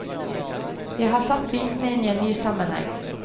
Jeg har satt bitene inn i en ny sammenheng.